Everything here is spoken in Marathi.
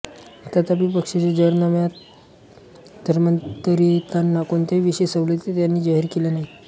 तथापि पक्षाच्या जाहीरनाम्यात धर्मांतरितांना कोणत्याही विशेष सवलती त्यांनी जाहीर केल्या नाहीत